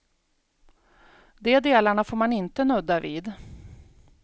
De delarna får man inte nudda vid.